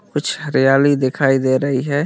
कुछ हरियाली दिखाई दे रही है।